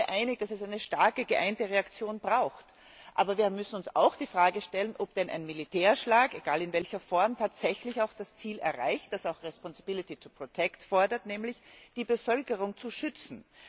Wir sind uns alle einig, dass es einer starken geeinten Reaktion bedarf. Aber wir müssen uns die Frage stellen, ob denn ein Militärschlag egal in welcher Form tatsächlich auch das Ziel erreicht, wozu auch responsability to protect gehört, nämlich die Bevölkerung zu schützen.